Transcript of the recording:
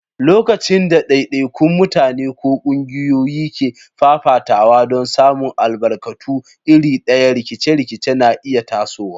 Lokacin da daidaikun mutane ko kungiyoyi ke fafatawa don samun albarkatu iri ɗaya, rikice-rikice na iya tasowa.